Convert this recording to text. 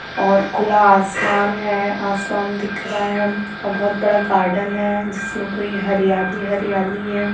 और खुला आसमान हैं आसमान दिख रहा हैं और बहुत बड़ा गार्डन हैं जिस मे पूरी हरियाली हरियाली हैं ।